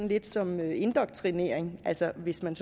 lidt som indoktrinering altså hvis man